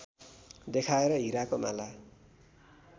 देखाएर हिराको माला